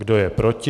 Kdo je proti?